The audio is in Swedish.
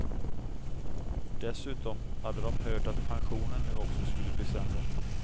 Dessutom hade de hört att pensionen nu också skulle bli sämre.